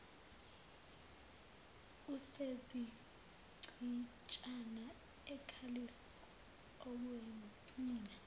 usezichitshana ekhalisa okwenina